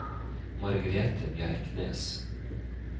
Margrethe Bjerknes